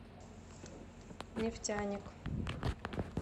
нефтяник